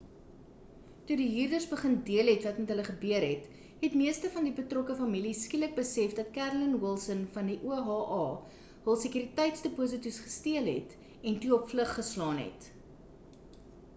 toe die huurders begin deel het wat met hulle gebeur het het meeste van die betrokke families skielik besef dat carolyn wilson van die oha hul sekuriteitsdeposito's gesteel het en toe op vlug geslaan het